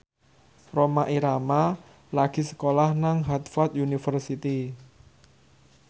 Rhoma Irama lagi sekolah nang Harvard university